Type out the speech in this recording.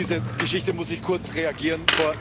Auf diese Geschichte muss ich kurz reagieren.